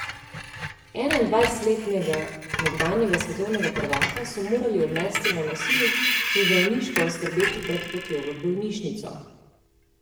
Enaindvajsetletnega nekdanjega svetovnega prvaka so morali odnesti na nosilih in zdravniško oskrbeti pred potjo v bolnišnico.